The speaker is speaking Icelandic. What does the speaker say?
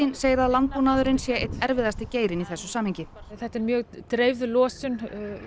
segir að landbúnaðurinn sé einn erfiðasti geirinn í þessu samhengi þetta er mjög dreifð losun